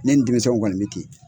Ne ni denmisɛnw kɔni bɛ ten